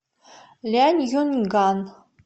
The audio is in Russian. ляньюньган